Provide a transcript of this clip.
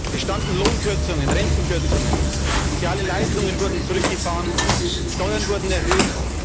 Es standen Lohnkürzungen, Rentenkürzungen an, soziale Leistungen wurden zurückgefahren, Steuern wurden erhöht.